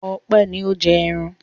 Ọpẹ́ ni ó ń jẹ ẹran.